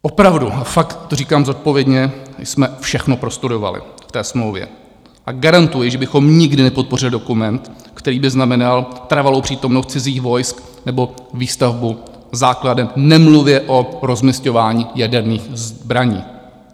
Opravdu, fakt to říkám zodpovědně, jsme všechno prostudovali v té smlouvě a garantuji, že bychom nikdy nepodpořili dokument, který by znamenal trvalou přítomnost cizích vojsk nebo výstavbu základen, nemluvě o rozmisťování jaderných zbraní.